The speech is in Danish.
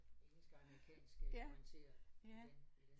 Engelsk-amerikansk øh orientere i den i den